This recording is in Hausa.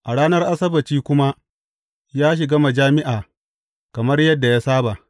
A ranar Asabbaci kuma, ya shiga majami’a kamar yadda ya saba.